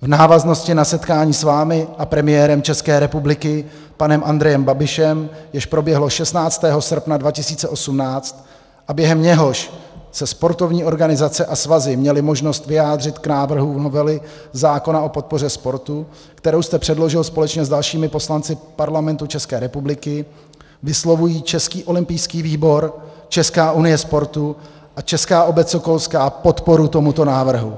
v návaznosti na setkání s vámi a premiérem České republiky panem Andrejem Babišem, jež proběhlo 16. srpna 2018 a během něhož se sportovní organizace a svazy měly možnost vyjádřit k návrhu novely zákona o podpoře sportu, kterou jste předložil společně s dalšími poslanci Parlamentu České republiky, vyslovují Český olympijský výbor, Česká unie sportu a Česká obec sokolská podporu tomuto návrhu.